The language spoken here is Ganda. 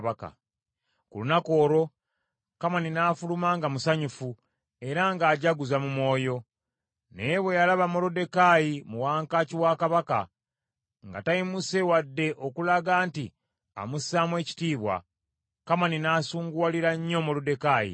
Ku lunaku olwo Kamani n’afuluma nga musanyufu era ng’ajaguza mu mwoyo. Naye bwe yalaba Moluddekaayi mu wankaaki wa Kabaka, nga tayimuse wadde okulaga nti amussaamu ekitiibwa, Kamani n’asunguwalira nnyo Moluddekaayi.